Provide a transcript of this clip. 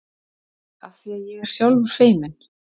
Afþvíað ég er sjálfur feiminn.